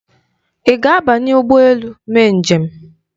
Ị ga-abanye ụgbọ elu mee njem?